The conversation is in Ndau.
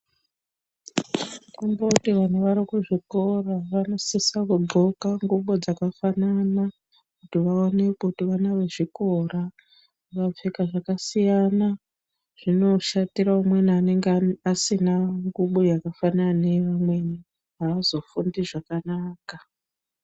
Kundoti vantu vari kuzvikora vanosise kudxoka ngubo dzakafanana kuti vaonekwe kuti vana vezvikora. Vakapfeka zvakasiyana zvinoshatira umweni anenge asina ngubo yakafanana neyeumweni, avazofundi zvakanaka .